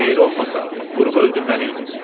Xeyri olmasa vurub öldürməliydin.